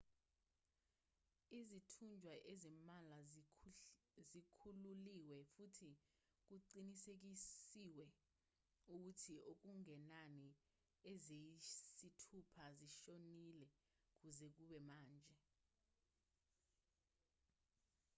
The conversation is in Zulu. izithunjwa ezimbalwa zikhululiwe futhi kuqinisekiswe ukuthi okungenani eziyisithupha zishonile kuze kube manje